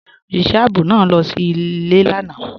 Ọṣìṣẹ̀ ààbò náà lọ sí ilẹ̀ lànà.